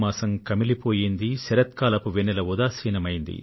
చచ్చుబడిన శరత్ కాల కౌముది